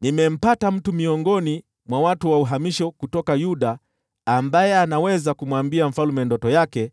“Nimempata mtu miongoni mwa watu wa uhamisho kutoka Yuda ambaye anaweza kumwambia mfalme maana ya ndoto yake.”